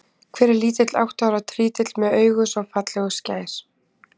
Hver er lítill átta ára trítill með augu svo falleg og skær?